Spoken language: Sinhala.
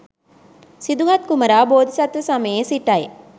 සිදුහත් කුමරා බෝධිසත්ව සමයේ සිටයි.